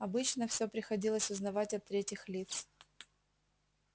обычно все приходилось узнавать от третьих лиц